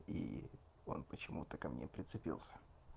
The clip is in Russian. и он почему-то ко мне прицепился